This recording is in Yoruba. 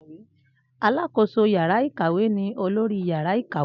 Alákoso yàrá ìkàwé ni olórí yàrá ìkàwé